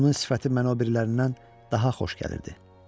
Onun sifəti mənə o birilərindən daha xoş gəlirdi.